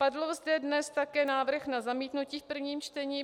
Padl zde dnes také návrh na zamítnutí v prvním čtení.